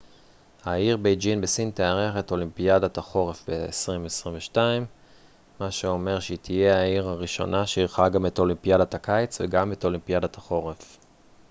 העיר בייג'ין בסין תארח את אולימפיאדת החורף ב-2022 מה שאומר שהיא תהיה העיר הראשונה שאירחה גם את אולימפיאדת הקיץ וגם את אולימפיאדת החורף